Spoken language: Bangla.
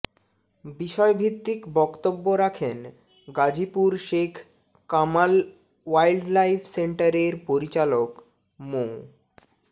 বিষয়ভিত্তিক বক্তব্য রাখেন গাজীপুর শেখ কামাল ওয়াইল্ডলাইফ সেন্টারের পরিচালক মো